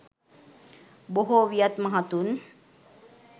බොහෝ වියත් මහතුන්